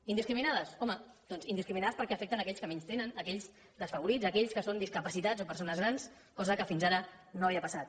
indiscriminades home doncs indiscriminades perquè afecten aquells que menys tenen aquells desfavorits aquells que són discapacitats o persones grans cosa que fins ara no havia passat